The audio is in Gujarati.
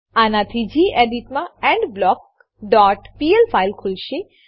આનાથી ગેડિટ માં એન્ડબ્લોક ડોટ પીએલ ફાઈલ ખુલશે